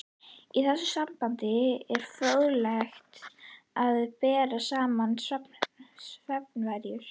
Í þessu sambandi er fróðlegt að bera saman svefnvenjur